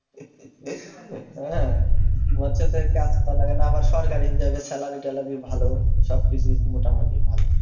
হ্যাঁ, মৎস্য তে কাজ করা লাগে না আবার সরকারি হিসেবে salary ট্যালারি ভালো সবকিছুই মোটামুটি ভালো